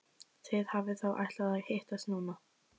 Þið hafið þá ætlað að hittast núna.